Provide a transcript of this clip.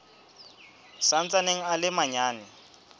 sa ntsaneng a le manyane